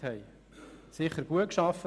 Es wurde sicher gut gearbeitet.